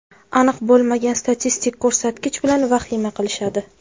Aniq bo‘lmagan statistik ko‘rsatkich bilan vahima qilishadi.